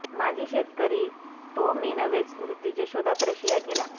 माजी शेतकरी तो मी नव्हेच वृत्तीचे शोधात रशिया गेला